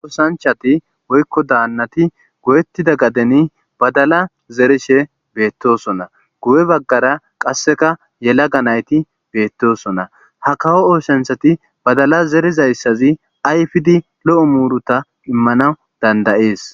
osanchati woykko daannati go7ettida gadeni badala zerishe beettosona gu7e baggara qasseka yela ga nayti beettosona ha kawo ooshanthati badala zerizayssazi ayfidi lo7o muruta immanaw dandayees